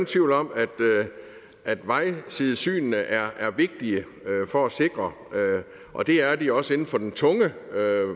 tvivl om at vejsidesynene er vigtige for at sikre og det er de også inden for den tunge